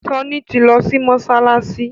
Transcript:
Sanni tí lọ si Mossalassi